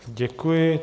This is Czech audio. Děkuji.